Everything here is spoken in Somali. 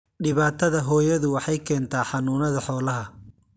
Dhibaatada hooyadu waxay keentaa xanuunada xoolaha.